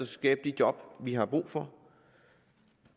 skabe de job vi har brug for